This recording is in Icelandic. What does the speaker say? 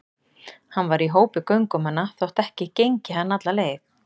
Hann var í hópi göngumanna þótt ekki gengi hann alla leið.